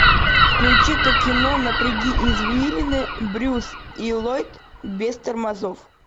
включи ка кино напряги извилины брюс и ллойд без тормозов